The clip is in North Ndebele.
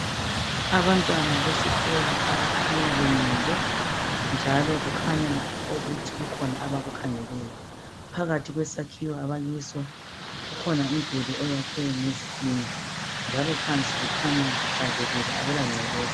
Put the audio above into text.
Abantwana besikolo abakhanya bemile njalo kukhanya ukuthi kukhona abakukhangeleyo phakathi kwesakhiwo abakiso kukhona umduli oyakhiwe ngezitina njalo phansi kukhanya kuhlanzekile akula ngcekeza.